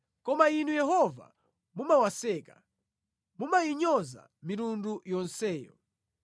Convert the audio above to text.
Koma Inu Yehova, mumawaseka, mumayinyoza mitundu yonseyo.